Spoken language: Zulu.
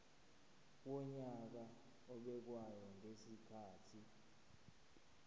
wonyaka obekwayo ngezikhathi